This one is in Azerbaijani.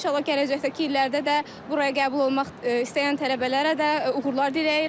İnşallah gələcəkdəki illərdə də buraya qəbul olmaq istəyən tələbələrə də uğurlar diləyirəm.